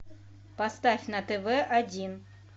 поставь на тв один